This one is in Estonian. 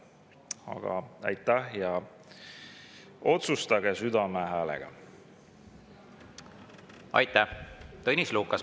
Aga aitäh ja otsustage südame hääle järgi!